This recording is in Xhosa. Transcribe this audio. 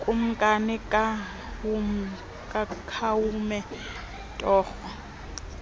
kumkani khawume torho